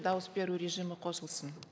дауыс беру режимі қосылсын